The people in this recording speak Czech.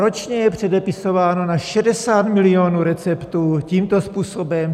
Ročně je předepisováno na 60 milionů receptů tímto způsobem.